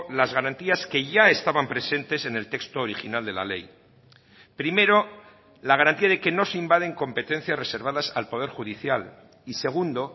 las garantías que ya estaban presentes en el texto original de la ley primero la garantía de que no se invaden competencias reservadas al poder judicial y segundo